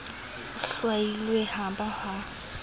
e hlwailweng ha ba ha